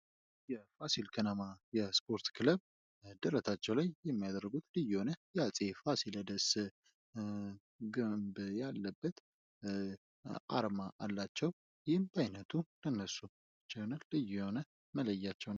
የፋሲል ከነማ የስፖርት ክለብ ደረታቸው ላይ የሚያደሩት ልዩ የሆነ የአጼ ፋሲለደስ ግንብ ያለበት አርማ አላቸው። ይህም በአይነቱ ለነሱ ብቻ የሆነ፣ ልዩ የሆነ፣ የሚለያቸው ነው።